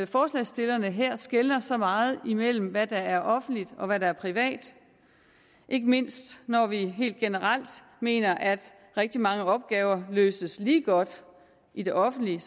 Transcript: forslagsstillerne her skelner så meget imellem hvad der er offentligt og hvad der er privat ikke mindst når vi helt generelt mener at rigtig mange opgaver løses lige godt i det offentlige